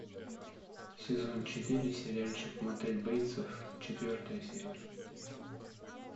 сезон четыре сериальчик мотель бейтсов четвертая серия